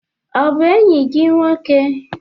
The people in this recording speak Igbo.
Ọ bụ enyi gị nwoke?